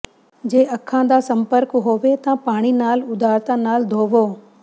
ਜੇ ਅੱਖਾਂ ਦਾ ਸੰਪਰਕ ਹੋਵੇ ਤਾਂ ਪਾਣੀ ਨਾਲ ਉਦਾਰਤਾ ਨਾਲ ਧੋਵੋ